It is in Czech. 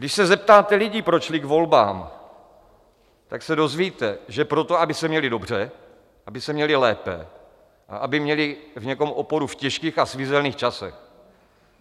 Když se zeptáte lidí, proč šli k volbám, tak se dozvíte, že proto, aby se měli dobře, aby se měli lépe a aby měli v někom oporu v těžkých a svízelných časech.